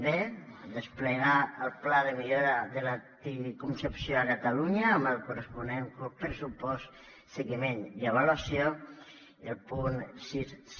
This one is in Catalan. b desplegar el pla de millora de l’anticoncepció a catalunya amb el corresponent pressupost seguiment i avaluació i al punt sis